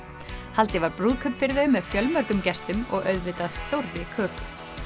haldið var brúðkaup fyrir þau með fjölmörgum gestum og auðvitað stórri köku